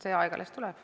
See aeg alles tuleb.